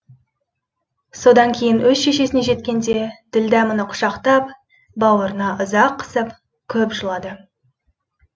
содан кейін өз шешесіне жеткенде ділдә мұны құшақтап бауырына ұзақ қысып көп жылады